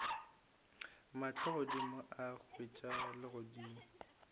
mahlo godimo a hwetša legodimo